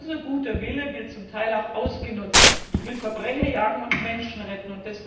Das heißt, unser guter Wille wird zum Teil auch ausgenutzt. Ich will Verbrecher jagen und Menschen retten.